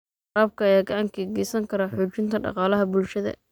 Waraabka ayaa gacan ka geysan kara xoojinta dhaqaalaha bulshada.